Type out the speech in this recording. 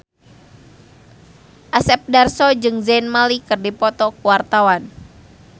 Asep Darso jeung Zayn Malik keur dipoto ku wartawan